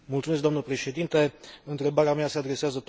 Întrebarea mea se adresează tot domnului comisar Andor.